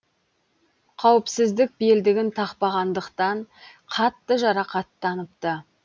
қауіпсіздік белдігін тақпағандықтан қатты жарақаттаныпты